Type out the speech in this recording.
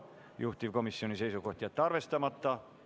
Juhtivkomisjoni seisukoht on jätta see arvestamata.